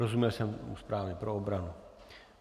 Rozuměl jsem správně - pro obranu.